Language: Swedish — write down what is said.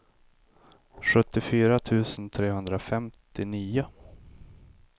sjuttiofyra tusen trehundrafemtionio